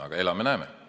Aga elame, näeme.